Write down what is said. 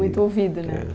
Muito ouvido, né? É...